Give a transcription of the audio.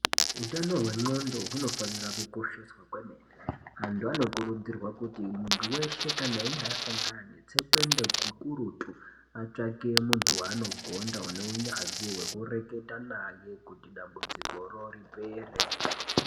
Hutano hwendxondo hunofanira kukosheswa kwemene. Antu anokurudzirwa kuti muntu veshe kana ange asangana netsekwende hukurutu atsvake muntu vanogonda unohunyanzvi hwekureketa maye kuti dambudzikoro ripere.